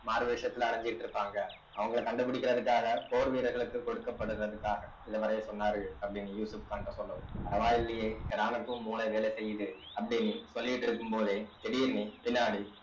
மாறுவேஷத்துல அலைஞ்சிட்டு இருப்பாங்க அவங்களை கண்டுபிடிக்கிறதுக்காக போர் வீரர்களுக்கு கொடுக்கப்படுவதற்காக இத வரைய சொன்னாரு அப்படின்னு யூசுப்கான்ட்ட சொல்லவும் பரவாயில்லையே ஹெராணுக்கும் மூளை வேலை செய்யுது அப்படின்னு சொல்லிட்டு இருக்கும் போதே திடீர்ன்னு பின்னாடி